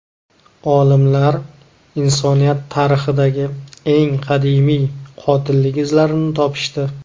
Olimlar insoniyat tarixidagi eng qadimiy qotillik izlarini topishdi.